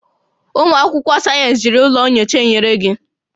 Ụmụ akwụkwọ sayensị, jiri ụlọ nyocha enyere gị